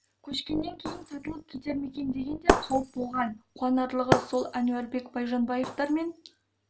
көшкеннен кейін сатылып кетер ме екен деген де қауіп болған қуанарлығы сол әнуарбек байжанбаевтар мен